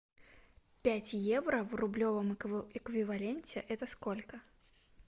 пять евро в рублевом эквиваленте это сколько